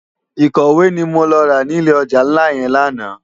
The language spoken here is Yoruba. Ikòwé ni mó rá ni ilé òjá nlá yèn làná